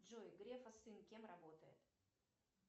джой грефа сын кем работает